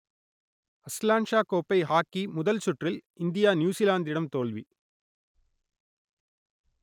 Azlan Shah கோப்பை hockey முதல் சுற்றில் இந்தியா நியூசிலாந்திடம் தோல்வி